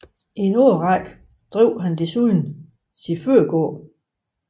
I en årrække drev han desuden sin fødegård